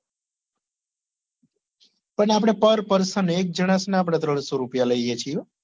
પણ આપડે par person એક જનસ ના આપડે ત્રણસો રૂપિયા લઈએ છીએ